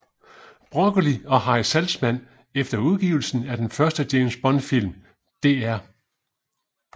Broccoli og Harry Saltzman efter udgivelsen af den første James Bond film Dr